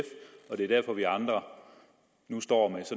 og det er derfor vi andre nu står